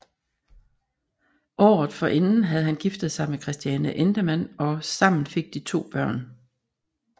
Året forinden havde han giftet sig med Christiane Endemann og sammen fik de to børn